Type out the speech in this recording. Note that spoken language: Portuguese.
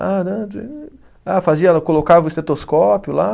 Ah, fazia lá, colocava o estetoscópio lá.